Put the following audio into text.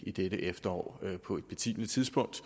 i dette efterår på et betimeligt tidspunkt